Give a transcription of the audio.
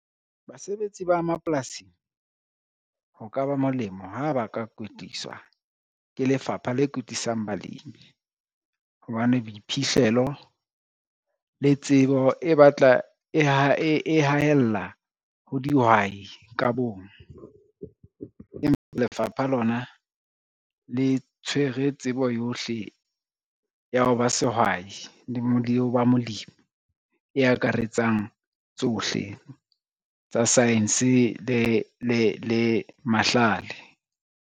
Basebetsi ba mapolasing, ho ka ba molemo ha ba ka kwetliswa ke lefapha le kwetlisang balemi. Hobane boiphihlelo le tsebo e batla e haella ho dihwai ka bong, empa lefapha lona le tshwere tsebo yohle ya ho ba sehwai le ho ba molemi e ekaretsang tsohle tsa science le mahlale.